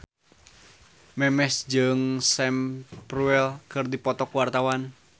Memes jeung Sam Spruell keur dipoto ku wartawan